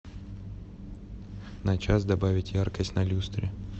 на час добавить яркость на люстре